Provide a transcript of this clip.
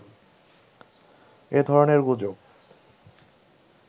এ ধরনের গুজব